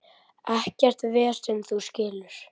Ekkert vesen, þú skilur.